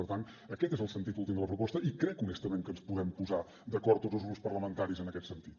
per tant aquest és el sentit últim de la proposta i crec honestament que ens podem posar d’acord tots els grups parlamentaris en aquest sentit